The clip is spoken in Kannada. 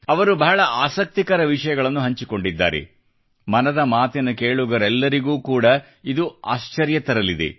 ಅವರು ಬಹಳ ಆಸಕ್ತಿಕರ ವಿಷಯಗಳನ್ನು ಹಂಚಿಕೊಂಡಿದ್ದಾರೆ ಮನದ ಮಾತಿನ ಕೇಳುಗರೆಲ್ಲರಿಗೂ ಕೂಡ ಇದು ಆಶ್ಚರ್ಯಗೊಳಿಸಲಿದೆ